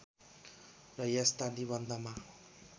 र यस्ता निबन्धमा